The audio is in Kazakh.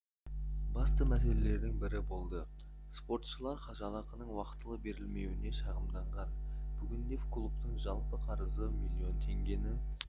басты мәселелердің бірі болды спортшылар жалақының уақытылы берілмеуіне шағымданған бүгінде клубтың жалпы қарызы миллион теңгені